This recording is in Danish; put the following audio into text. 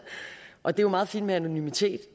og det er jo meget fint med anonymitet